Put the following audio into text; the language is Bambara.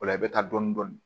O la i bɛ taa dɔni dɔni